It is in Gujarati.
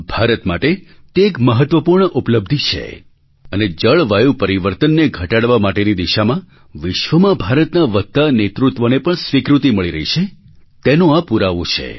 ભારત માટે તે એક મહત્ત્વપૂર્ણ ઉપલબ્ધિ છે અને જળવાયુ પરિવર્તનને ઘટાડવા માટેની દિશામાં વિશ્વમાં ભારતના વધતા નેતૃત્વને પણ સ્વીકૃતિ મળી રહી છે તેનો આ પુરાવો છે